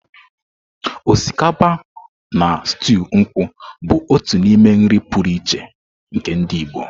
Osikapa na stuu nkwu bụ otu n'ime nri pụrụ iche nke ndị Igbo.